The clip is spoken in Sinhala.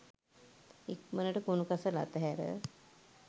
ඉක්මණට කුණු කසල අතහැර